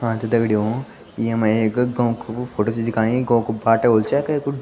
हाँ त दग्डियों येमा एक गों कु फोटो छ दिखायीं गों कु बाटू वेलु चाये केकु --